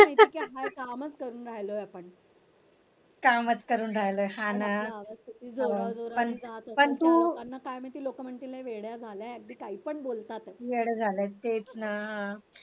कामच करून राहिले आपण